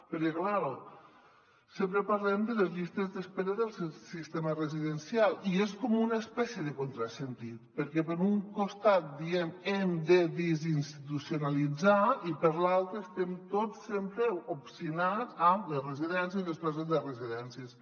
perquè clar sempre parlem de les llistes d’espera del sistema residencial i és com una espècie de contrasentit perquè per un costat diem que hem de desinstitucionalitzar i per l’altre estem tots sempre obstinats en les residències i les places de residències